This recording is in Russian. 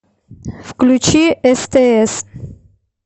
включи стс